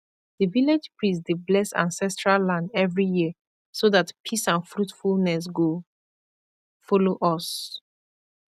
the village priest dey bless ancestral land every year so that peace and fruitfulness go follow us